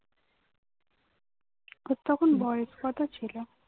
ওর তখন বয়স কত ছিল